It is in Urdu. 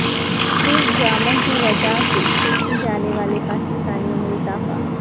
ترک ڈراموں کی وجہ سے ترکی جانے والے پاکستانیوں میں اضافہ